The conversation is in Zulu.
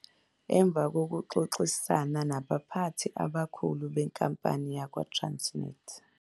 Emva kokuxoxisana nabaphathi abakhulu benkampani yakwaTransnet.